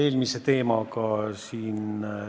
Jätame kõrvale, et ei sobi pakutud katteallikas Eesti Energia.